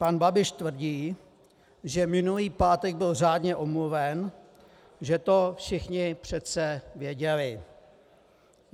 Pan Babiš tvrdí, že minulý pátek byl řádně omluven, že to všichni přece věděli.